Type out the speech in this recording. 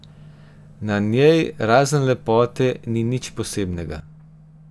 Na njej, razen lepote, ni nič posebnega.